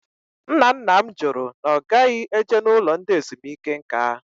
Ńnà ńnà m jụrụ na ogaghi eje n'ụlọ ndị ezumike nká